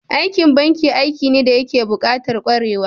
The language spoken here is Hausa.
Aikin banki aiki ne dayake bukatar kwarewa